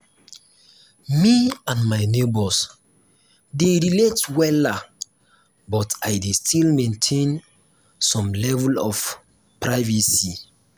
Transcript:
me and my neighbors dey relate wella but i dey still maintain some level of privacy.